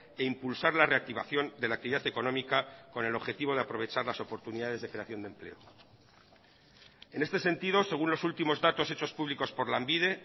e impulsar la reactivación de la actividad económica con el objetivo de aprovechar las oportunidades de creación de empleo en este sentido según los últimos datos hechos públicos por lanbide